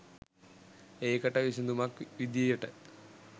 ඒකට විසඳුමක් විධියට